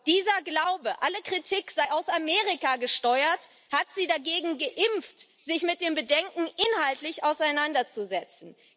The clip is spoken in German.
Dieser Glaube, alle Kritik sei aus Amerika gesteuert, hat sie dagegen geimpft, sich mit dem Bedenken inhaltlich auseinanderzusetzen.